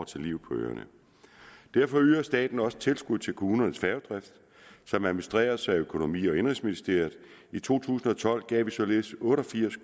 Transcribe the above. til livet på øerne derfor yder staten også tilskud til kommunernes færgedrift som administreres af økonomi og indenrigsministeriet i to tusind og tolv gav vi således otte og firs